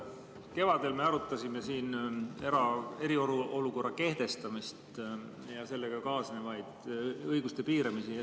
Kevadel me arutasime siin eriolukorra kehtestamist ja sellega kaasnevaid õiguste piiramisi.